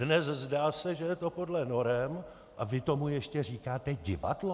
Dnes, zdá se, že je to podle norem - a vy tomu ještě říkáte divadlo?